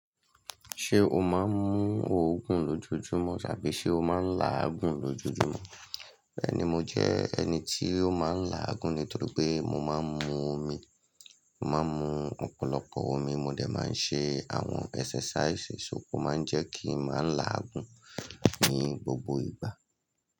Ṣé o máa ń mu òògùn lójúúmọ̀ tàbí ṣé o máa ń la àgùn lójúúmọ̀? Bẹ́ẹ̀ni mo jẹ́ ẹni tí ó máa ń la'àgùn ni torí pé mo máa ń mu omi. Mo máa ń mu ọ̀pọ̀lọpọ̀ omi mo dẹ̀ máa ń ṣe àwọn ẹsẹsàísì, ṣó o máa ń jẹ́ kí n máa là'àgùn ní gbogbo ìgbà.